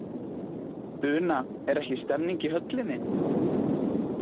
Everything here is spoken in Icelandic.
Una er ekki stemning í höllinni?